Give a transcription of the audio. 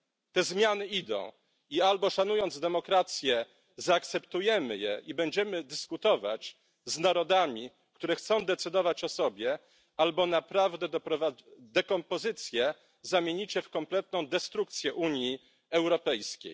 Te zmiany idą i albo szanując demokrację zaakceptujemy je i będziemy dyskutować z narodami, które chcą decydować o sobie, albo naprawdę dekompozycję zamienicie w kompletną destrukcję Unii Europejskiej.